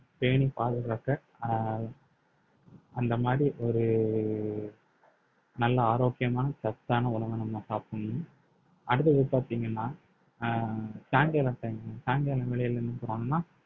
பேணிப் பாதுகாக்க அஹ் அந்த மாரி ஒரு நல்ல ஆரோக்கியமான சத்தான உணவை நம்ம சாப்பிடணும் அடுத்தது பாத்தீங்கன்னா அஹ் சாயங்கால time மு சாயங்கால வேளைல என்ன பண்ணனும்னா